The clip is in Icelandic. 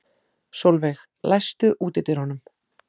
Solveig, læstu útidyrunum.